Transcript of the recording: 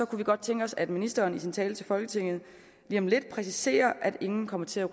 kunne vi godt tænke os at ministeren i sin tale til folketinget lige om lidt præciserer at ingen kommer til at